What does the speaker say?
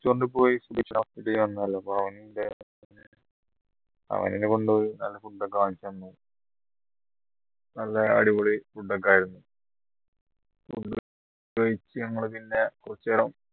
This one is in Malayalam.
restaurant പോയി അവൻ എന്നെ കൊണ്ടുപോയി നല്ല food ഒക്കെ വാങ്ങിത്തന്നു നല്ല അടിപൊളി food ഒക്കെ ആയിരുന്നു ഞങ്ങള് പിന്നെ കുറച്ചു നേരം